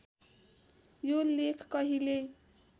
यो लेख कहिल्यै